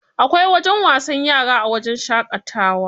Akwai wajen wasan yara a wajen shaƙatawa.